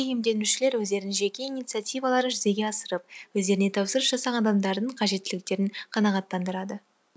иемденушілер өздерінің жеке иниңиативаларын жүзеге асырып өздеріне тапсырыс жасаған адамдардың қажеттіліктерін қанағаттандырады